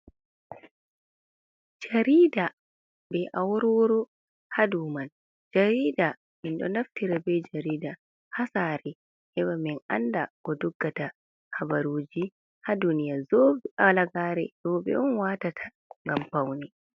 Jarida be awarworu ha dow mai. Jarida, min ɗo naftira be jarida ha sare heɓa min anda ko doggata habaruji ha duniya. Halagare rowɓe on watata ngam faune.